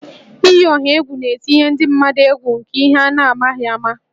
Iyi ọha egwu na-etinye ndị mmadụ egwu nke ihe a na-amaghị ama